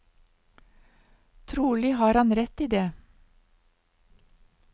Trolig har han rett i det.